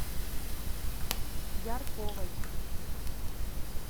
ярковой